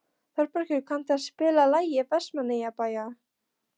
Þorbergur, kanntu að spila lagið „Vestmannaeyjabær“?